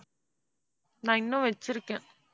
நான் இன்னும் வச்சிருக்கேன்